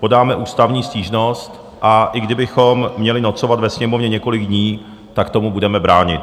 Podáme ústavní stížnost, a i kdybychom měli nocovat ve Sněmovně několik dní, tak tomu budeme bránit.